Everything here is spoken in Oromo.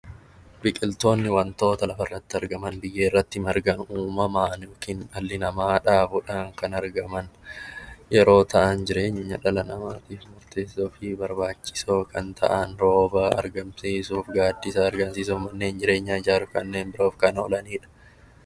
Biqiltoonni wantoota lafarratti argaman, biyyeerratti margan uumamaan yookiin dhalli namaa dhaabuudhaan kan argaman yeroo ta'an jireenya dhala namaatiif murteessaa fi barbaachisoo kan ta'an, rooba argamsiisuuf, gaaddisa argamsiisuuf, manneen jireenyaa ijaaruuf kanneen biroof kan oolanidha.